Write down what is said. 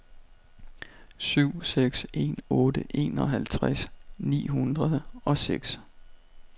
syv seks en otte enoghalvtreds ni hundrede og seks